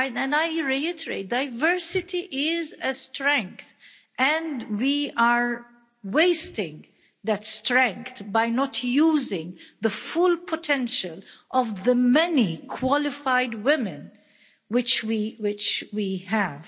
I reiterate diversity is a strength, and we are wasting that strength by not using the full potential of the many qualified women which we have.